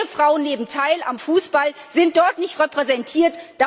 Auch viele Frauen nehmen teil am Fußball, sind dort aber nicht repräsentiert.